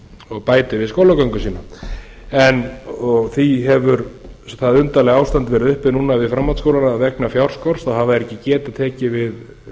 og bæti við skólagöngu sína því hefur það undarlega ástand verið uppi núna við framhaldsskólana að vegna fjárskorts hafa þeir ekki getað tekið við